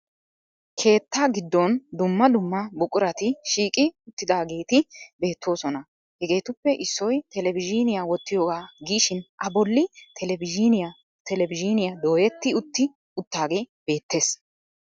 Keetta giddon dumma dumma buqurati shiiqi uttidaageeti beettoosona. Hegeetuppe issoy TV wottiyogaa giishin A bolli TV dooyetti utti uttaagee beettees.